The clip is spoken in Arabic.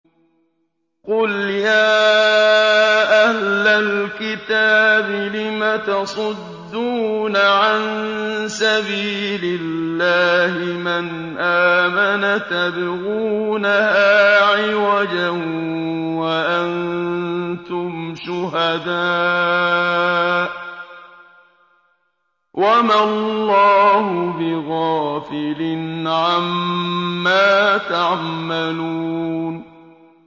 قُلْ يَا أَهْلَ الْكِتَابِ لِمَ تَصُدُّونَ عَن سَبِيلِ اللَّهِ مَنْ آمَنَ تَبْغُونَهَا عِوَجًا وَأَنتُمْ شُهَدَاءُ ۗ وَمَا اللَّهُ بِغَافِلٍ عَمَّا تَعْمَلُونَ